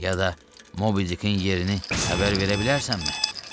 Ya da Mobidikin yerini xəbər verə bilərsənmi?"